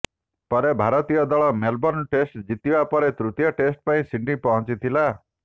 ପରେ ଭାରତୀୟ ଦଳ ମେଲବୋର୍ଣ୍ଣ ଟେଷ୍ଟ ଜିତିବା ପରେ ତୃତୀୟ ଟେଷ୍ଟ ପାଇଁ ସିଡନୀ ପହଞ୍ଚିଥିଲା